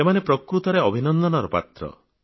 ଏମାନେ ପ୍ରକୃତରେ ଅଭିନନ୍ଦନର ପାତ୍ର